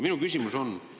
Minu küsimus on selline.